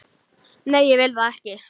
Nei, ég vil það ekki.